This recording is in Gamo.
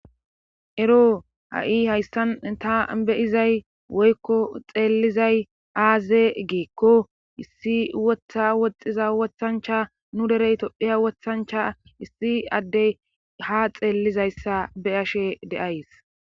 Ero ha'i hayssan ta be'izay woykko xeelizay aaze giikko issi wotta woxxiza wothancha nu dere tophiya wotancha issi adde ha xeelizayssa be'ashe de'ays.